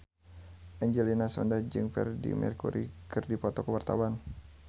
Angelina Sondakh jeung Freedie Mercury keur dipoto ku wartawan